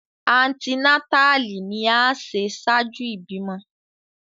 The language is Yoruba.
Antinatali ni a ṣe ṣaaju ibimọ